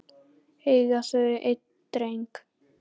Eiga þau einn dreng.